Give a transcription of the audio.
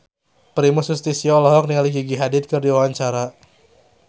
Primus Yustisio olohok ningali Gigi Hadid keur diwawancara